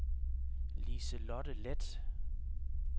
Liselotte Leth